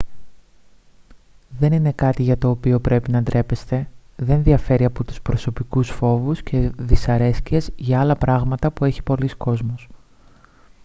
δεν είναι κάτι για το οποίο πρέπει να ντρέπεστε δεν διαφέρει από τους προσωπικούς φόβους και δυσαρέσκειες για άλλα πράγματα που έχει πολύς κόσμος